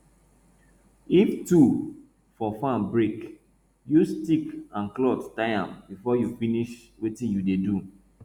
if tool for farm break use stick and cloth tie am before you finish wetin you dey do